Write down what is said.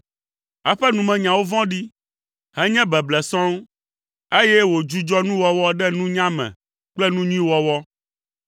Eƒe numenyawo vɔ̃ɖi, henye beble sɔŋ, eye wòdzudzɔ nuwɔwɔ ɖe nunya me kple nu nyui wɔwɔ.